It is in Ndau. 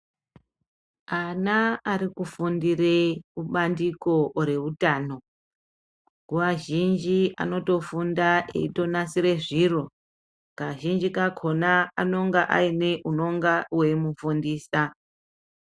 Ana ari kufundire kubandiko reutano nguwa zhinji anotofunda eitonasire zviro kazhinji kakona anenge aine unonga weimufundisa.